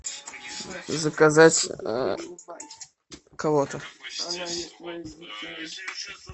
заказать кого то